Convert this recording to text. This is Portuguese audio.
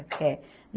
Quer.